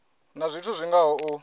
na zwithu zwi ngaho u